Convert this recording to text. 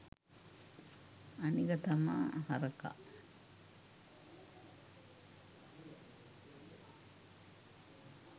අනික තමා හරකා